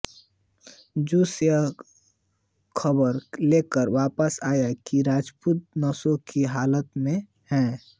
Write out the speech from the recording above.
जासूस यह खबर लेकर वापस आए कि राजपूत नशे की हालत में थे